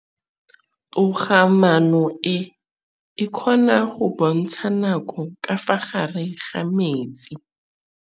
Toga-maanô e, e kgona go bontsha nakô ka fa gare ga metsi.